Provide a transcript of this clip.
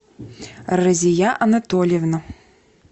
розия анатольевна